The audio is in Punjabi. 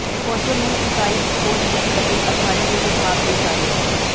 ਖੋਜੋ ਮੁੱਲ ਇਕਾਈ ਦੀ ਖੋਜ ਵਿਚ ਲੱਗੇ ਅਦਾਰੇ ਦੇ ਵਿਭਾਗ ਦੀ ਸਾਰੀ